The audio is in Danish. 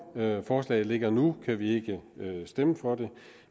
forslaget ligger nu kan vi ikke stemme for det